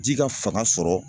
Ji ka fanga sɔrɔ